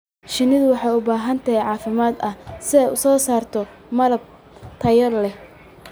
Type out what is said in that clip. Shinnidu waxay u baahan tahay caafimaad ahaan si ay u soo saarto malab tayo leh.